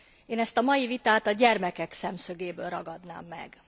Én ezt a mai vitát a gyermekek szemszögéből ragadnám meg.